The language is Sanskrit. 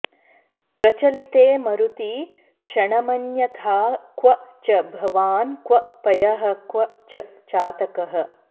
प्रचलिते मरुति क्षणमन्यथा क्व च भवान् क्व पयः क्व च चातकः